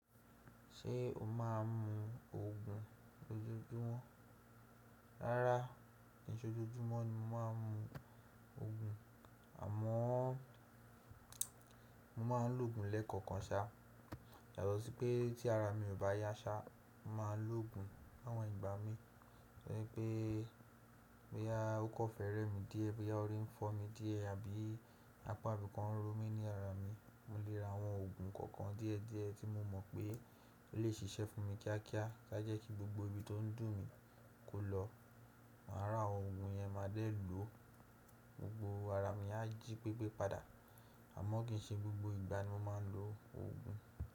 Ṣé o má n mu ògùn lójoójúmọ́? Rárá, kì í ṣe ojoojúmọ́ ni mo má a n mu ògùn. Àmọ́n mo ma n lo ògùn lẹ́ẹ̀kọ̀kan sá. Yàtọ̀ sí pé tí ara mi ò bá yá sá, mo má a n lo ògùn. Láwọn ìgbà mi, bí ẹ pé, bí a ó kọ́ fẹ́rẹ́ mi díè, bí a orí ń fọ́ mi díè, àbí apá ibìkan ń ro mí ní ara mi, mo lè ra àwọn òògùn kọ̀ọ̀kan díẹ̀ díẹ̀ tí mo mọ̀ pé ó lè ṣiṣẹ́ fún mi kíákíá kí a jẹ́ kí gbogbo ibi tó ń dùn mí kó lọ. Màá rà àwọn òògùn yẹn máa dé e lò. Gbogbo ara mi a jí pépé padà. Àmọ́ kì í ṣe gbogbo ìgbà ni mo má a n lo òògùn.